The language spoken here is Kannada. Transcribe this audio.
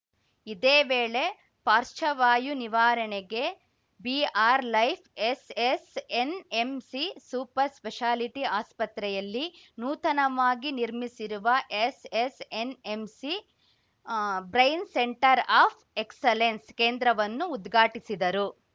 ಇದೇ ವೇಳೆ ಪಾರ್ಶ ವಾಯು ನಿವಾರಣೆಗೆ BR Life SSNMC super speciality ಆಸ್ಪತ್ರೆಯಲ್ಲಿ ನೂತನವಾಗಿ ನಿರ್ಮಿಸಿರುವ ಎಸ್‌ಎಸ್‌ಎನ್‌ಎಂಸಿಬ್ರೈನ್‌ ಸೆಂಟರ್‌ ಆಫ್‌ ಎಕ್ಸಲೆನ್ಸ್‌ ಕೇಂದ್ರವನ್ನೂ ಉದ್ಘಾಟಿಸಿದರು